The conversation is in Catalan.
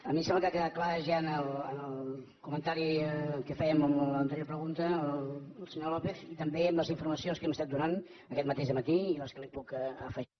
a mi em sembla que ja ha quedat clar en el comentari que feia en l’anterior pregunta el senyor lópez i també en les informacions que hem estat donant aquest mateix matí i les que li puc afegir